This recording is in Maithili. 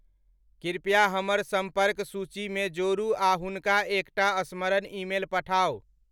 कृपया हमर संपर्क सूची मे जोड़ू आ हुनका एकटा स्मरण ईमेल पठाउ।